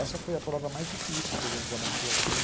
Essa foi a prova mais difícil que a gente já montou aqui.